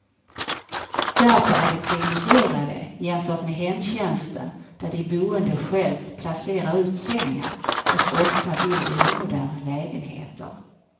Därför är de priviligierade jämfört med hemtjänsten där de boende själv placerar ut sängen, och ofta bor i omoderna lägenheter.